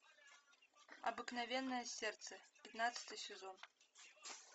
обыкновенное сердце пятнадцатый сезон